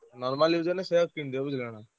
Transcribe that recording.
Normal use ହେଲେ ସେୟା କିଣିଦିଅ ବୁଝିଲ ନା।